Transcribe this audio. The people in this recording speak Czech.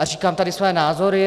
A říkám tady svoje názory.